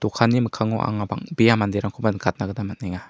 okanni mikkango anga bang·bea manderangkoba nikatna gita man·enga.